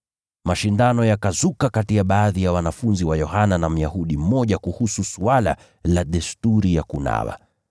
Mashindano yakazuka kati ya baadhi ya wanafunzi wa Yohana na Myahudi mmoja kuhusu suala la desturi ya kunawa kwa utakaso.